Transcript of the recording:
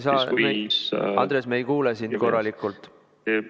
Andres, me ei kuule sind korralikult.